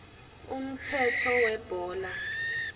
umthetho webhola